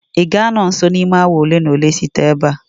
ị ga-anọ nso n'ime awa ole na ole site ebe a